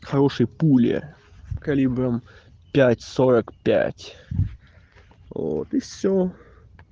хорошие пули калибром пять сорок пять вот и всё